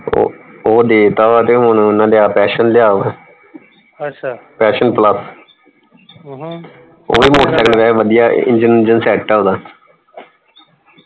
ਉਹ ਦੇ ਦਿਤਾ ਵਾ ਤੇ ਹੁਣ ਓਹਨਾ ਲਿਆ ਪੈਸ਼ਨ ਲਿਆ ਵਾ passion plus ਉਹ ਵੀ motorcycle ਵੈਸੇ ਵਧੀਆ engine ਊਂਜਨ set ਹੈ ਓਹਦਾ।